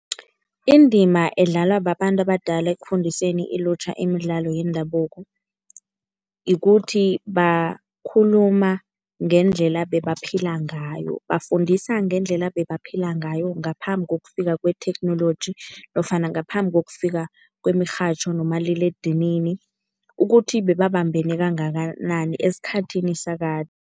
Indima edlalwa babantu abadala ekufundiseni ilutjha imidlalo yendabuko ikuthi bakhuluma ngendlela ebebaphila ngayo. Bafundisa ngendlela ebebaphila ngayo ngaphambi kokufika kwethekhnoloji nofana ngaphambi kokufika kwemirhatjho nomaliledinini ukuthi bebabambene kangakanani esikhathini sakade.